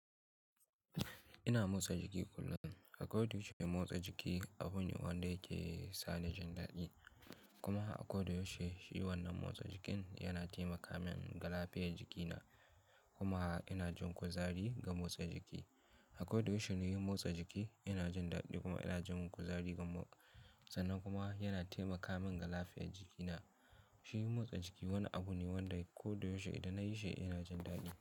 Ina motsa jiki kullum. A kodayaushe duk wani motsa jiki, abune wanda yake sani jan daɗi. Kuma a kodayaushe shi wannan motsa jikin yana taimaka min ga lafiyan jikina. Kuma ina jin kuzari ga motsa jiki. A kodayaushe nayi motsa jiki, ina jin daɗi kuma ina jin kuzari sannan kuma yana taimaka min galafiyan jikina. Shi motsa jiki wani abu ne wanda kodayaushe idan na yi shi ina jin daɗi.